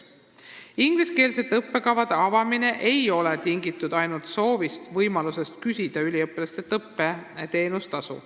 Ingliskeelsete õppekavade avamine ei ole tingitud ainult soovist või võimalusest küsida üliõpilastelt õppeteenustasu.